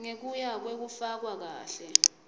ngekuya kwekufakwa kahle